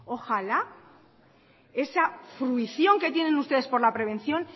esa fruición que tienen ustedes por la prevención